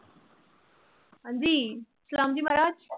ਹਾਂਜੀ ਸਲਾਮ ਜੀ ਮਹਾਰਾਜ।